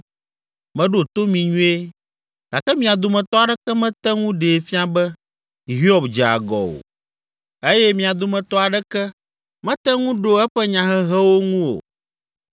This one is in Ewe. Meɖo to mi nyuie gake mia dometɔ aɖeke mete ŋu ɖee fia be Hiob dze agɔ o eye mia dometɔ aɖeke mete ŋu ɖo eƒe nyahehewo ŋu o.